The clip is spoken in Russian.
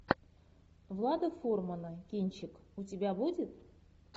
влада фурмана кинчик у тебя будет